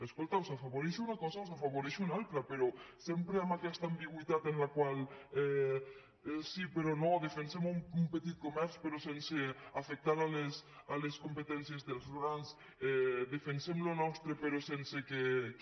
escolta o s’afavoreix una cosa o se n’afavoreix una altra però sempre amb aquesta ambigüitat en la qual sí però no defensem un petit comerç però sense afectar les competències dels grans defensem el que és nostre però sense que